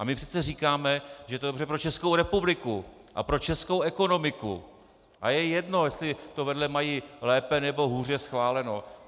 A my přece říkáme, že je to dobře pro Českou republiku a pro českou ekonomiku a je jedno, jestli to vedle mají lépe, nebo hůře schváleno.